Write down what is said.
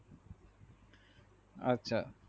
আচ্ছা